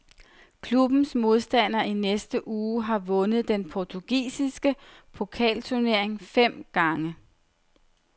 Klubbens modstander i næste uge har vundet den portugisiske pokalturnering fem gange.